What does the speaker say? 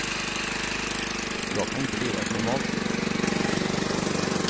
Jag kan inte leva ett normalt liv.